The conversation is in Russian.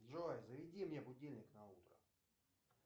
джой заведи мне будильник на утро